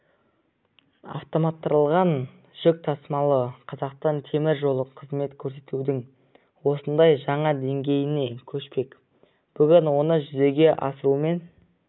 автоматтандырылған жүк тасымалы қазақстан темір жолы қызмет көрсетудің осындай жаңа деңгейіне көшпек бүгін оны жүзеге асырумен